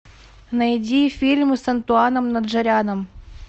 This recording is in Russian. найди фильмы с антуаном наджаряном